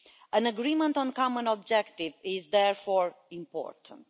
An agreement on common objectives is therefore important.